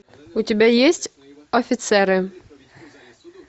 у тебя есть офицеры